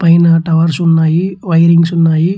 పైన టవర్స్ ఉన్నాయ్ వైరింగ్స్ ఉన్నాయి.